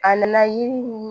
A nana yiri